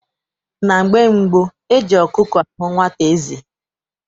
Na mgbe gboo, eji ọkụkọ ahụ nwata eze.